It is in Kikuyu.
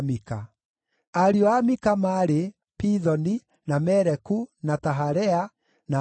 Ariũ a Mika maarĩ: Pithoni, na Meleku, na Taharea, na Ahazu.